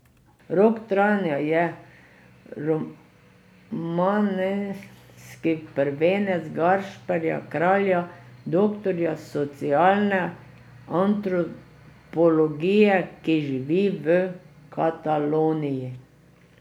Rok trajanja je romaneskni prvenec Gašperja Kralja, doktorja socialne antropologije, ki živi v Kataloniji.